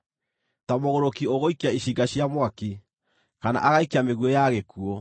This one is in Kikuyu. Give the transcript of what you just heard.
Ta mũgũrũki ũgũikia icinga cia mwaki, kana agaikia mĩguĩ ya gĩkuũ,